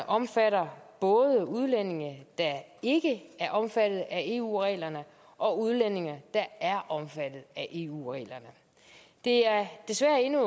omfatter både udlændinge der ikke er omfattet af eu reglerne og udlændinge der er omfattet af eu reglerne det er desværre endnu